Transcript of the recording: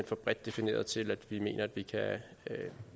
for bredt defineret til at vi mener det kan